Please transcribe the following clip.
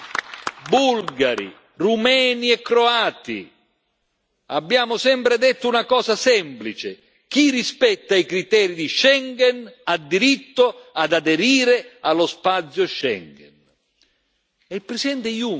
Ai nostri concittadini bulgari, rumeni e croati abbiamo sempre detto una cosa semplice chi rispetta i criteri di Schengen ha diritto ad aderire allo spazio Schengen.